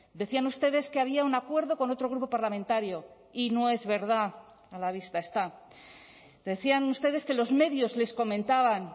decían ustedes que había un acuerdo con otro grupo parlamentario y no es verdad a la vista está decían ustedes que los medios les comentaban